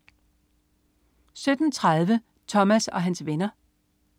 17.30 Thomas og hans venner